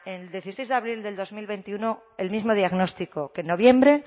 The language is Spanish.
el dieciséis de abril del dos mil veintiuno el mismo diagnóstico que en noviembre